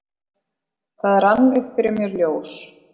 Það rann upp fyrir mér ljós: